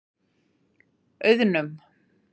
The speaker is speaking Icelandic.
Auðnum